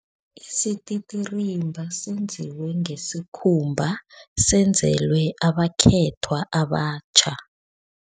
Isititirimba senziwe ngesikhumba, senzelwe abakhethwa abatjha.